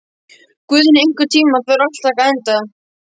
Guðni, einhvern tímann þarf allt að taka enda.